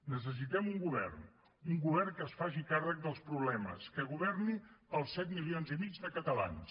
necessitem un govern un govern que es faci càrrec dels problemes que governi per als set milions i mig de catalans